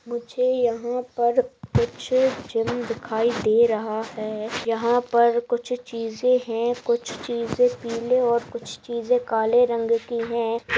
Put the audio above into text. यहां पर कुछ जिम दिखाई दे रहा है। यहां पर कुछ चीजें हैं कुछ चीजें पीले और कुछ चीजें काले रंग की हैं।